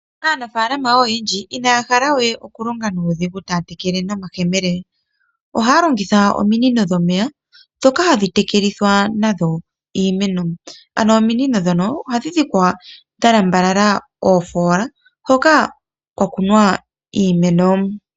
Aanafaalama oyendji inaya hala okulonga nuudhigu taya tekele nomayemele. Ohaya longitha ominino dhomeya ndhoka hadhi tekelithwa nadho iimeno. Ominino ndhino ohadhi dhikwa dhalambalala oofoola hoka kwakunwa iimeno.